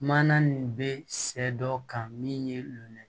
Mana nin bɛ sɛ dɔ kan min ye nɛn